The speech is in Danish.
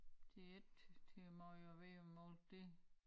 Det ikke til meget at vide om alt det